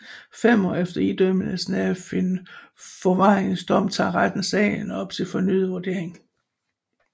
Fem år efter idømmelsen af en forvaringsdom tager retten sagen op til fornyet vurdering